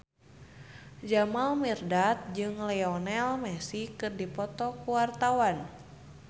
Jamal Mirdad jeung Lionel Messi keur dipoto ku wartawan